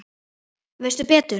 Veistu betur?